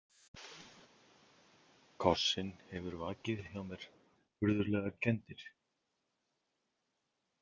Kossinn hefur vakið hjá mér furðulegar kenndir.